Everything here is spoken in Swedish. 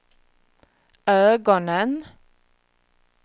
ögonen